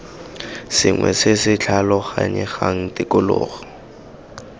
sengwe se se tlhaloganyegang tikologo